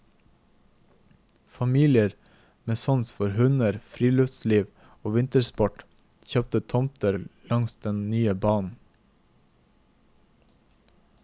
Familier med sans for hunder, friluftsliv og vintersport kjøpte tomter langs den nye banen.